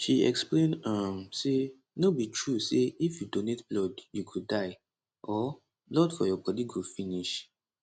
she explain um say no be true say if you donate blood you go die or blood for your bodi go finish